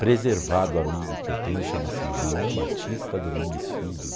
preservado amigo que eu tenho, chama-se João Batista Domingues Filho.